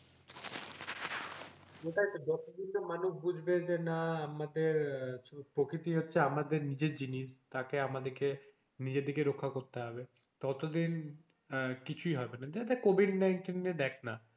সেটাই তো যত দিন না মানুষ বুঝবে যে না আমাদের প্রকৃতি হচ্ছে আমাদের নিজের জিনিস তাকে আমাদের কে নিজেদেরকে রক্ষা করতে হবে তো এত দিন কিছুই হবে কোভিড nineteen এ দেখনা,